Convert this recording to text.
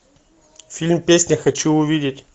фильм песня хочу увидеть